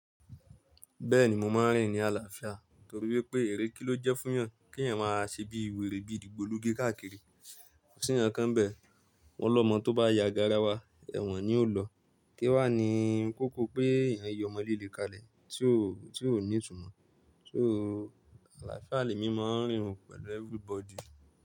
Bẹ́ẹ̀ni, mo máa ń rìn ní àlàáfíà torí wípé ère kí ló jẹ́ fún yàn kí èèyàn máa ṣe bí wèrè bí igbólugi káàkiri. Ko si nkan nkan bẹ̀ wọ́n lọ́mọ tó bá ya garawa ẹ̀wọ̀n ni ó lọ. Kí wà ní ń kókó pé èèyàn yọ ọmọlé le kalẹ̀ tí ó ní ìtumọ̀. So àlàáfíà lé mi máa ń rìn pẹ̀lú everybody.